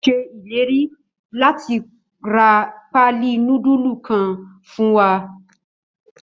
Ó ṣèlérí láti ra paali nudulu kan fún wa.